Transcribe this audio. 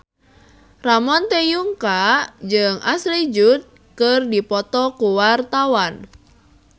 Ramon T. Yungka jeung Ashley Judd keur dipoto ku wartawan